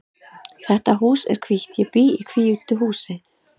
Þetta hús er hvítt. Ég bý í hvítu húsi.